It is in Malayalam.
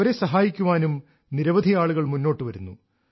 അവരെ സഹായിക്കാനും നിരവധി ആളുകൾ മുന്നോട്ട് വരുന്നു